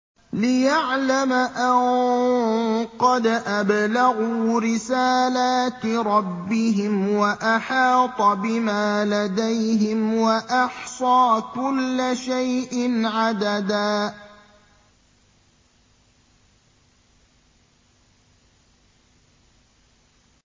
لِّيَعْلَمَ أَن قَدْ أَبْلَغُوا رِسَالَاتِ رَبِّهِمْ وَأَحَاطَ بِمَا لَدَيْهِمْ وَأَحْصَىٰ كُلَّ شَيْءٍ عَدَدًا